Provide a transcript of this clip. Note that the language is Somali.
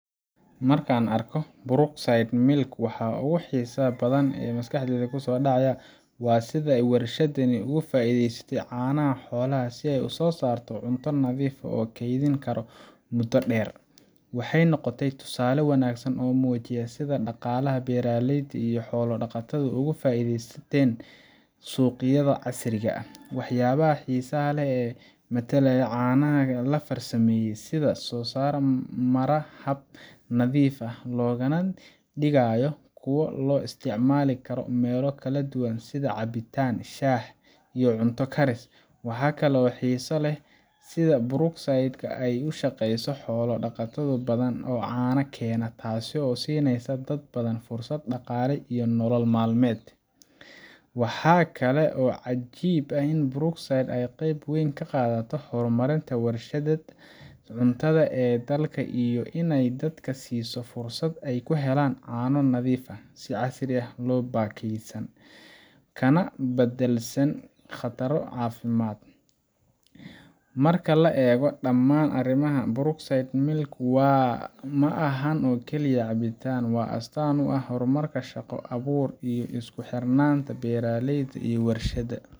Marka aan arko Brookside milk, waxa ugu xiisaha badan ee maskaxdayda ku soo dhaca waa sida ay warshadani uga faa’iidaysatay caanaha xoolaha si ay u soo saarto cunto nadiif ah oo la keydin karo muddo dheer. Waxay noqotay tusaale wanaagsan oo muujinaya sida dhaqaalaha beeraleyda iyo xoolo dhaqato uga faa’iideysan karaan suuqyada casriga ah. Waxyaabaha xiisaha leh waxaa ka mid ah tayada caanaha la farsameeyay sida ay u soo maraan hab nadiif ah, loogana dhigayo kuwo loo isticmaali karo meelo kala duwan sida cabitaan, shaah, iyo cunto karis. Waxaa kale oo aan xiiso u leeyahay sida Brookside ka ay ula shaqeyso xoolo dhaqato badan oo caanaha keena, taasoo siinaysa dad badan fursad dhaqaale iyo nolol maalmeed. Waxaa kaloo cajiib ah in Brookside ay qayb weyn ka qaadato horumarinta warshadaha cuntada ee dalka iyo inay dadka siiso fursad ay ku helaan caano nadiif ah, si casri ah u baakadaysan, kana badbaadsan khataro caafimaad. Marka la eego dhammaan arrimahan, Brookside milk, ma ahan oo keliya cabitaan waa astaan u ah horumarka, shaqo abuurka, iyo isku xirnaanta beeraleyda iyo warshadaha.